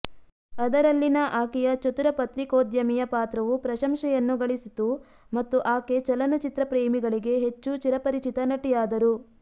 ಅದರಲ್ಲಿನ ಆಕೆಯ ಚತುರ ಪತ್ರಿಕೋದ್ಯಮಿಯ ಪಾತ್ರವು ಪ್ರಶಂಸೆಯನ್ನು ಗಳಿಸಿತು ಮತ್ತು ಆಕೆ ಚಲನಚಿತ್ರ ಪ್ರೇಮಿಗಳಿಗೆ ಹೆಚ್ಚು ಚಿರಪರಿಚಿತ ನಟಿಯಾದರು